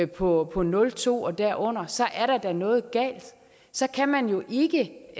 på på nul to og derunder så er der da noget galt så kan man jo ikke